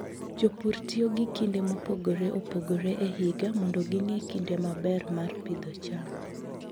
Jopur tiyo gi kinde mopogore opogore e higa mondo ging'e kinde maber mar pidho cham.